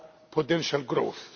potential growth.